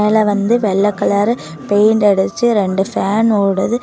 இதுல வந்து வெள்ள கலர் பெயிண்ட் அடிச்சு ரெண்டு ஃபேன் ஓடுது.